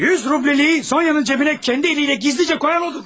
100 rubliliyi Sonya'nın cəbinə kəndi əliylə gizlicə qoyan odur.